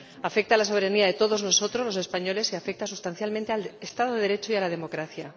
Afecta a la soberanía de todos nosotros ―los españoles― y afecta sustancialmente al Estado de Derecho y a la democracia.